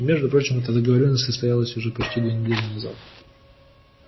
и между прочим эта договорённость состоялась уже почти две недели назад